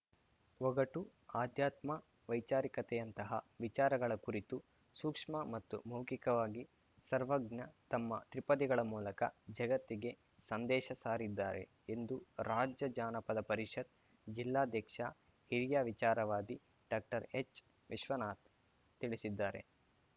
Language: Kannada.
ಒಗಟು ಆಧ್ಯಾತ್ಮ ವೈಚಾರಿಕತೆಯಂತಹ ವಿಚಾರಗಳ ಕುರಿತು ಸೂಕ್ಷ್ಮ ಮತ್ತು ಮೌಖಿಕವಾಗಿ ಸರ್ವಜ್ಞ ತಮ್ಮ ತ್ರಿಪದಿಗಳ ಮೂಲಕ ಜಗತ್ತಿಗೆ ಸಂದೇಶ ಸಾರಿದ್ದಾರೆ ಎಂದು ರಾಜ್ಯ ಜಾನಪದ ಪರಿಷತ್‌ ಜಿಲ್ಲಾಧ್ಯಕ್ಷ ಹಿರಿಯ ವಿಚಾರವಾದಿ ಡಾಕ್ಟರ್ಎಚ್‌ವಿಶ್ವನಾಥ್ ತಿಳಿಸಿದ್ದಾರೆ